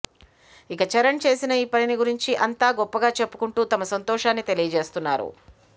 ఇక చరణ్ చేసిన ఈ పనిని గురించి అంత గొప్పగా చెప్పుకుంటూ తమ సంతోషాన్ని తెలియజేస్తున్నారు